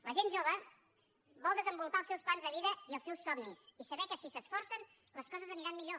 la gent jove vol desenvolupar els seus plans de vida i els seus somnis i saber que si s’esforcen les coses aniran millor